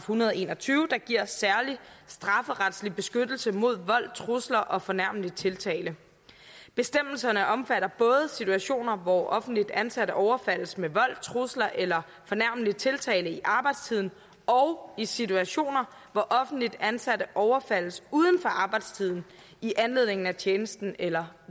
hundrede og en og tyve der giver en særlig strafferetlig beskyttelse mod vold trusler og fornærmelig tiltale bestemmelserne omfatter både situationer hvor offentligt ansatte overfaldes med vold trusler eller fornærmende tiltale i arbejdstiden og i situationer hvor offentligt ansatte overfaldes uden for arbejdstiden i anledning af tjenesten eller